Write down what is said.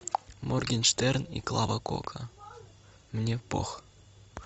моргенштерн и клава кока мне пох